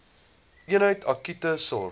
eenheid akute sorg